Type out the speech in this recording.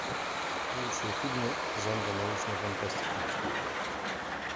лучшие фильмы жанра научная фантастика